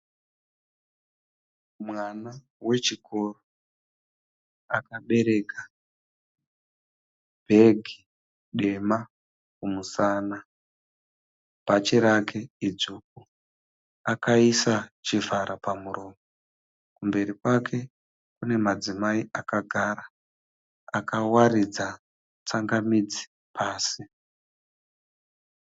Mwana wechikoro. Akabereka bhegi dema kumusana, Bhachi rake idzvuku. Akaisa chivhara pamuromo. Kumberi kwake kune madzimai akagara akawaridza tsangamidzi pasi.